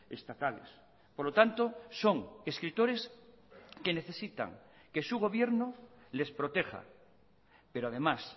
estatales por lo tanto son escritores que necesitan que su gobierno les proteja pero además